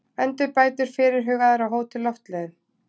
Endurbætur fyrirhugaðar á Hótel Loftleiðum